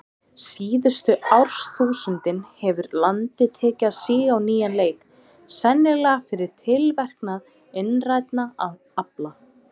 Síðustu árþúsundin hefur landið tekið að síga á nýjan leik, sennilega fyrir tilverknað innrænna afla.